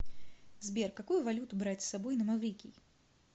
сбер какую валюту брать с собой на маврикий